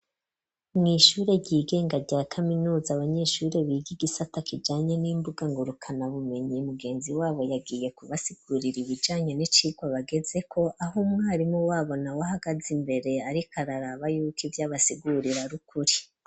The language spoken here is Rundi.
Mu shuri ry'igenga rya kaminuza abanyeshuri biga igisata kijanye n'imbuga ngurukana bumenyi mugenzi wabo yagiye ku basigurira ibijanye n'icigwa bagezeko aho umwarimu wabo nawe ahagaze imbere ariko araraba yuko ivyo abasigurira ari ukuri.